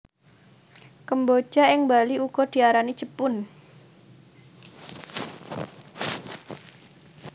Kemboja ing Bali uga diarani jepun